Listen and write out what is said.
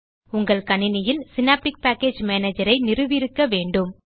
உங்கள் கணினியில் Synaptic package manager ஐ நிறுவியிருக்க வேண்டும்